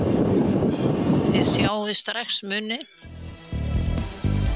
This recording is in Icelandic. Þið sjáið strax muninn.